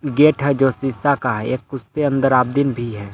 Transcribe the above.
Gate है जो शीशा का है एक उसके अंदर आमदीन भी है।